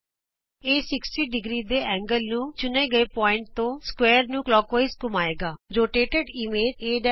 ਇਹ 60° ਦੇ ਕੋਣ ਨੂੰ ਚੁਣੇ ਗਏ ਬਿੰਦੂ ਤੇ ਸਮਕੋਣ ਚਤੁਰਭੁਜ ਨੂੰ ਕਲੋਕਵਾਈਜ਼ ਖੱਬੇ ਤੋਂ ਸੱਜੇ ਘੰਮਾਏਗਾ